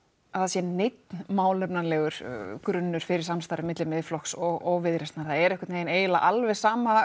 það sé neinn málefnalegur grunnur fyrir samstarfi milli Miðflokks og Viðreisnar það er einhvernvegin eiginlega alveg sama